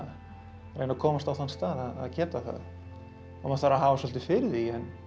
að reyna að komast á þann stað að geta það maður þarf að hafa svolítið fyrir því